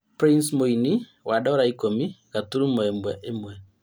Prince mũini wa Dora ikũmi gaturumo ĩmwe ĩmwe